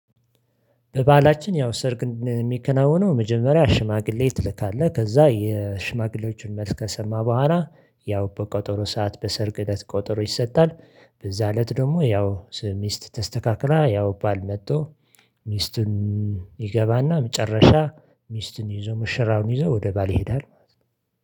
በበሀላችን ያው ሰርግ የሚከናወነው መጀመሪያ ሽማግሌ ትልካለህ ከዛ የሽማግሌዎችን መልስ ከሰማ በኋላ ያው በቆጠሮ ሰዓት በሰርግ እለት ቀጠሮ ይሰጣል። በዛ እለት ደግሞ ያው ሚስት ተስተካክላ ያው ባል መጥቶ ሚስቱን ይገባና መጨረሻ ሚስቱን ይዞ ሙሸራውን ይዞ ወደ ባል ይሄዳል ማለት ነው